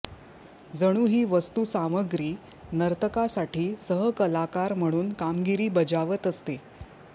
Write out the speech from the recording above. जणू ही वस्तुसामग्री नर्तकासाठी सहकलाकार म्हणून कामगिरी बजावत असते